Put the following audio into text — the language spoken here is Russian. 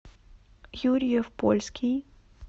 юрьев польский